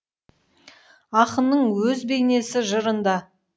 ақынның өз бейнесі жырында